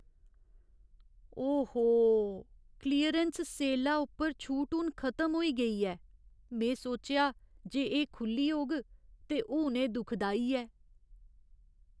ओ हो! क्लीयरैंस सेला उप्पर छूट हून खतम होई गेई ऐ। में सोचेआ जे एह् खु'ल्ली होग ते हून एह् दुखदाई ऐ।